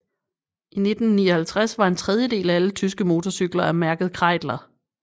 I 1959 var en tredjedel af alle tyske mortorcykler af mærket Kreidler